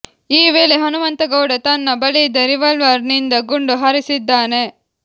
ಈ ವೇಳೆ ಹನುಮಂತಗೌಡ ತನ್ನ ಬಳಿಯಿದ್ದ ರಿವಾಲ್ವರ್ ನಿಂದ ಗುಂಡು ಹಾರಿಸಿದ್ದಾನೆ